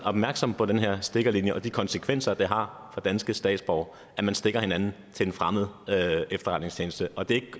opmærksom på den her stikkerlinje og de konsekvenser det har for danske statsborgere at man stikker hinanden til en fremmed efterretningstjeneste og det